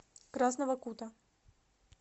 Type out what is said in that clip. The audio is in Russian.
красного кута